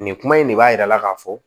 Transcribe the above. Nin kuma in de b'a yira k'a fɔ